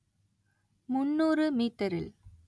முந்நூறு மீட்டரில்